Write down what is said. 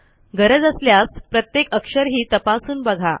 गरज असल्यास प्रत्येक अक्षरही तपासून बघा